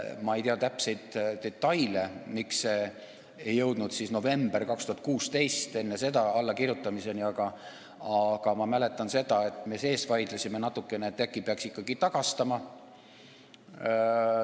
Ma ei tea täpseid detaile, miks ei jõutud enne novembrit 2016 selle allakirjutamiseni, aga ma mäletan, et me vaidlesime natukene, et äkki peaks ikkagi tagastama.